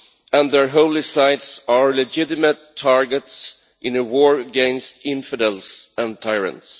and their holy sites are legitimate targets in a war against infidels and tyrants.